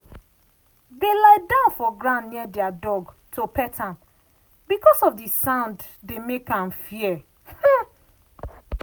they lie down for ground near their dog to pet am because of the sound dey make am fear.